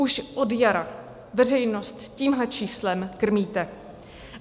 Už od jara veřejnost tímhle číslem krmíte.